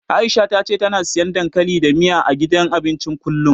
Aisha ta ce tana siyan dankali da miya, a gidan abincin kullum.